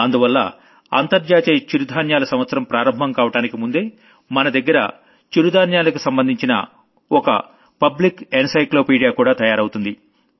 దానివల్ల international millet year ప్రారంభం కావడానికి ముందే మన దగ్గర మిల్లెట్స్ కి సంబంధించిన ఒక పబ్లిక్ encyclopaediaకూడా తయారవుతుంది